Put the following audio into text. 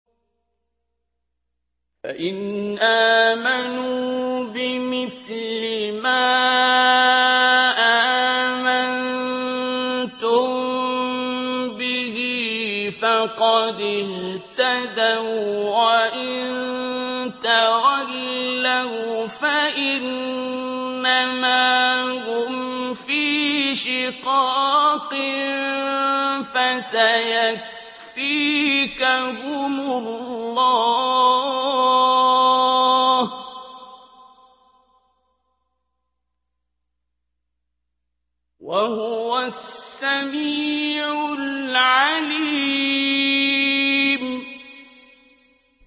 فَإِنْ آمَنُوا بِمِثْلِ مَا آمَنتُم بِهِ فَقَدِ اهْتَدَوا ۖ وَّإِن تَوَلَّوْا فَإِنَّمَا هُمْ فِي شِقَاقٍ ۖ فَسَيَكْفِيكَهُمُ اللَّهُ ۚ وَهُوَ السَّمِيعُ الْعَلِيمُ